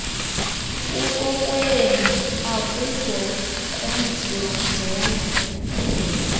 kukokwenu akuzokwenziwa njenga